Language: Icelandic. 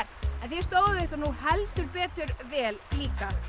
en þið stóðuð ykkur heldur betur vel líka